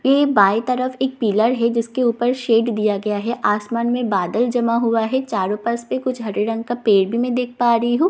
ये बाई तरफ़ एक पिलर है जिसके ऊपर शेड दिया गया है आसमान में बादल जमा हुआ है चारों पास से कुछ हरे रंग का पेड़ भी मैं देख पा रही हूं दिखने में ये --